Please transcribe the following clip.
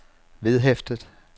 vedhæftet